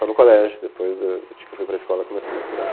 Só no colégio, depois do de que eu fui para a escola começou a misturar.